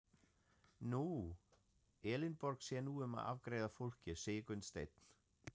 Nú, Elínborg sér nú um að afgreiða fólkið, sagði Gunnsteinn.